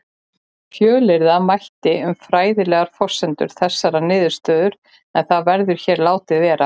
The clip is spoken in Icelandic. Fjölyrða mætti um fræðilegar forsendur þessarar niðurstöðu en það verður hér látið vera.